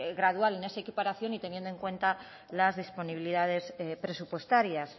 gradual en esa equiparación y teniendo en cuenta las disponibilidades presupuestarias